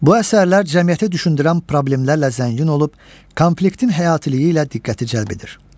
Bu əsərlər cəmiyyəti düşündürən problemlərlə zəngin olub, konfliktin həyatiliyi ilə diqqəti cəlb edir.